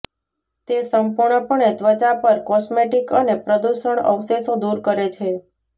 તે સંપૂર્ણપણે ત્વચા પર કોસ્મેટિક અને પ્રદૂષણ અવશેષો દૂર કરે છે